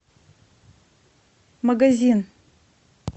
магазин